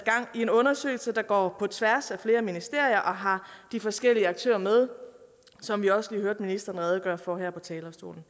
i en undersøgelse der går på tværs af flere ministerier og har de forskellige aktører med som vi også lige hørte ministeren redegøre for her på talerstolen